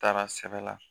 Taara sɛbɛn la